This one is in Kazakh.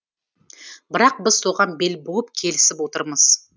бірақ біз соған бел буып келісіп отырмыз